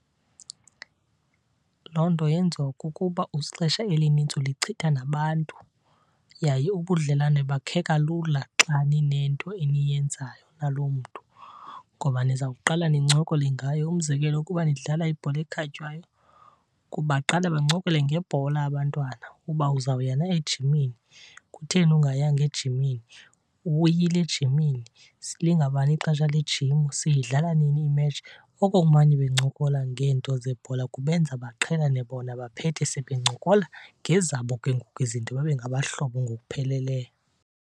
Loo nto yenziwa kukuba ixesha elinintsi ulichitha nabantu yaye ubudlelwane bakheka lula xa ninento eniyenzayo naloo mntu ngoba nizawuqala nincokole ngayo. Umzekelo, ukuba nidlala ibhola ekhatywayo kuba baqale bancokole ngebhola abantwana, uba uzawuya na ejimini, kutheni ungayanga ejimini, ubuyile ejimini, lingabani ixesha le jim, siyidlala nini imetshi. Okokumane bencokola ngeento zebhola kubenza baqhelane bona baphethe sebencokola ngezabo ke ngoku izinto, babe ngabahlobo ngokupheleleyo.